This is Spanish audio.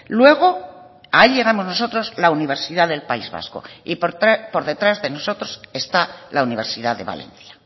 luego ahí llegamos nosotros la universidad del país vasco y por detrás de nosotros está la universidad de valencia